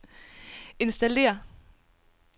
installér